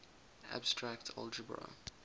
abstract algebra